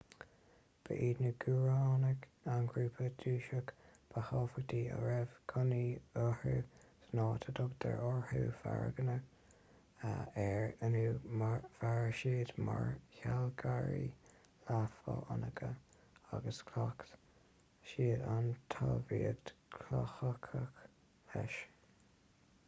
ba iad na guaránaigh an grúpa dúchasach ba thábhachtaí a raibh cónaí orthu san áit a dtugtar oirthear pharagua air inniu mhair siad mar shealgairí leath-fhánacha agus chleacht siad an talmhaíocht chothaitheach leis